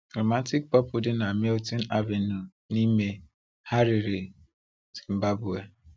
Romantic Purple dị na Milton Avenue n'ime Harare, Zimbabwe.